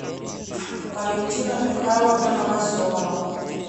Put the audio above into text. валентина михайловна новоселова